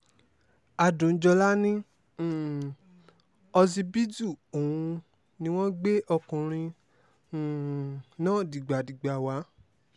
adùnjọ́lá ní um ọsibítù òun ni wọ́n gbé ọkùnrin um náà dìgbàdìgbà wá